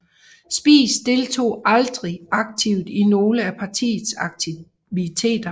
Spies deltog aldrig aktivt i nogle af partiets aktiviteter